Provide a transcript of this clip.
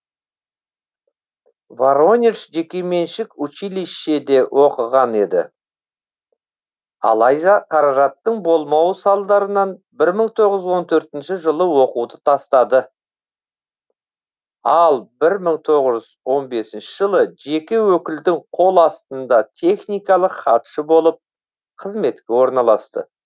воронеж жекеменшік училищеде оқыған еді алайда қаражаттың болмауы салдарынан бір мың тоғыз жүз он төртінші жылы оқуды тастады ал бір мың тоғыз жүз он бесінші жылы жеке өкілдің қол астында техникалық хатшы болып қызметке орналасты